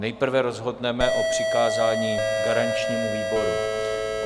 Nejprve rozhodneme o přikázání garančnímu výboru.